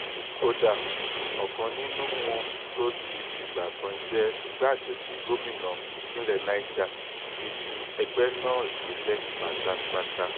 kódà ọ̀kan nínú wọn tó ti fìgbà kan jẹ́ igbákejì gómìnà ìpínlẹ̀ niger ti fi ẹgbẹ́ náà sílẹ̀ pátápátá